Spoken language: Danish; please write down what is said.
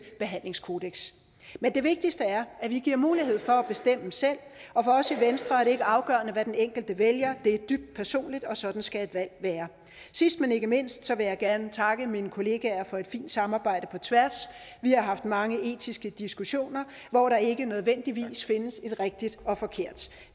behandlingskodeks men det vigtigste er at vi giver mulighed for at bestemme selv og for os i venstre er det ikke afgørende hvad den enkelte vælger det er dybt personligt og sådan skal et valg være sidst men ikke mindst vil jeg gerne takke mine kollegaer for et fint samarbejde på tværs vi har haft mange etiske diskussioner hvor der ikke nødvendigvis findes et rigtigt og forkert